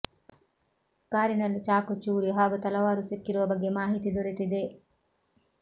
ಕಾರಿನಲ್ಲಿ ಚಾಕು ಚೂರಿ ಹಾಗೂ ತಲವಾರು ಸಿಕ್ಕಿರುವ ಬಗ್ಗೆ ಮಾಹಿತಿ ದೊರೆತಿದೆ